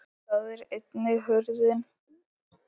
Þar er einnig hurðin.